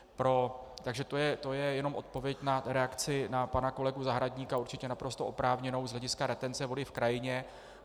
Takže to je jenom odpověď na reakci na pana kolegu Zahradníka, určitě naprosto oprávněnou z hlediska retence vody v krajině.